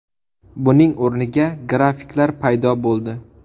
Buning o‘rniga grafiklar paydo bo‘ldi.